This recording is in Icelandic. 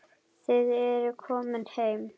Þið eruð komin heim.